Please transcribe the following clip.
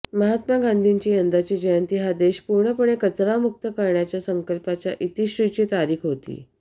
महात्मा गांधीची यंदाची जयंती हा देश पूर्णपणे कचरामुक्त करण्याच्या संकल्पाच्या इतिश्रीची तारीख होती